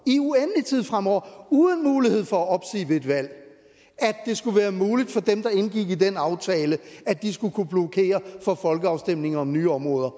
i uendelig tid fremover uden mulighed for at opsige det ved et valg at det skulle være muligt for dem der indgik i den aftale at de skulle kunne blokere for folkeafstemninger om nye områder